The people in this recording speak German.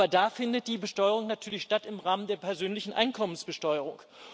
Aber da findet die Besteuerung natürlich statt im Rahmen der persönlichen Einkommensbesteuerung.